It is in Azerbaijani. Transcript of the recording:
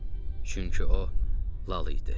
Çünki o lal idi.